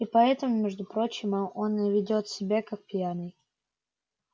и поэтому между прочим он и ведёт себя как пьяный